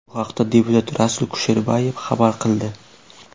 Bu haqda deputat Rasul Kusherbayev xabar qildi.